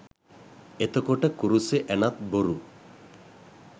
එතකොට කුරුසේ ඇණත් බොරු